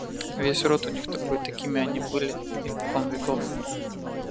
весь род у них такой такими они были испокон веков